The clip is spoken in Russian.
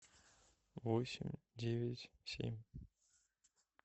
восемь девять семь